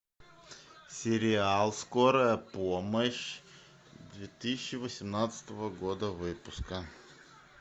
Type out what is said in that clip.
сериал скорая помощь две тысячи восемнадцатого года выпуска